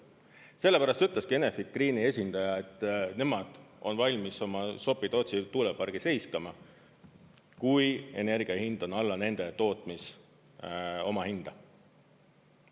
Sellepärast ütleski Enefit Greeni esindaja, et nemad on valmis oma Sopi-Tootsi tuulepargi seiskama, kui energia hind on alla nende tootmis-omahinda.